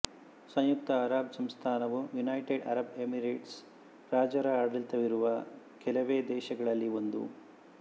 ಸಂಯುಕ್ತ Arab ಸಂಸ್ಥಾನವು United Arab Emirates ರಾಜರ ಆಡಳಿತವಿರುವ ಕೆಲವೇ ದೇಶಗಳಲ್ಲಿ ಒಂದು